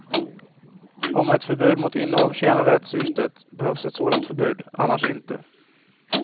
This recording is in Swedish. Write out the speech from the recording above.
Om ett förbud mot innehav tjänar det syftet behövs ett sådant förbud, annars inte.